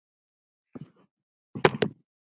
Lalli elti hann.